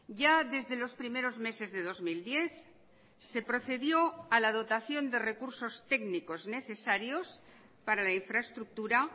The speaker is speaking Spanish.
ya desde los primeros meses de dos mil diez se procedió a la dotación de recursos técnicos necesarios para la infraestructura